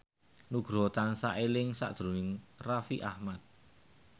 Nugroho tansah eling sakjroning Raffi Ahmad